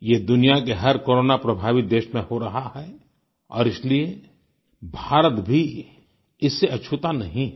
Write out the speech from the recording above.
ये दुनिया के हर कोरोना प्रभावित देश में हो रहा है और इसलिए भारत भी इससे अछूता नहीं है